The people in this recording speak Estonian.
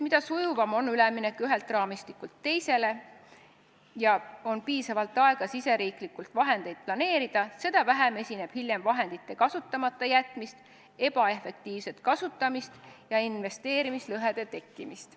Mida sujuvam on üleminek ühelt raamistikult teisele, nii et on piisavalt aega riigisiseselt vahendeid planeerida, seda vähem on hiljem vahendite kasutamata jätmist, ebaefektiivset kasutamist ja investeerimislõhede tekkimist.